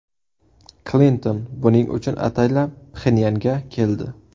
Klinton buning uchun ataylab Pxenyanga keldi.